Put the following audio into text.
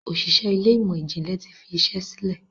Òṣìṣẹ́ Ilé ìmọ̀n-jinlẹ tí fí iṣé sílè.